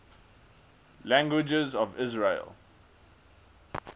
languages of israel